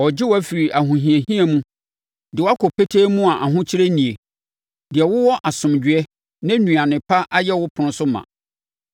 “Ɔregye wo afiri ahohiahia mu de wo akɔ petee mu a ahokyere nnie, deɛ wowɔ asomdwoeɛ, na nnuane pa ayɛ wo ɛpono so ma.